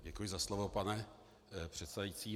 Děkuji za slovo, pane předsedající.